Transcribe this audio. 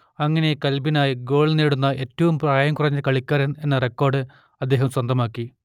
അങ്ങനെ ക്ലബ്ബിനായി ഗോൾ നേടുന്ന ഏറ്റവും പ്രായം കുറഞ്ഞ കളിക്കാരൻ എന്ന റെക്കോർഡ് അദ്ദേഹം സ്വന്തമാക്കി